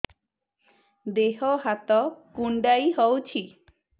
ଦେହ ହାତ କୁଣ୍ଡାଇ ହଉଛି